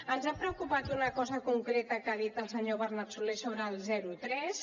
ens ha preocupat una cosa concreta que ha dit el senyor bernat solé sobre el zero tres